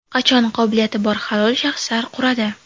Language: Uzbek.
Qachon qobiliyati bor halol shaxslar quradi?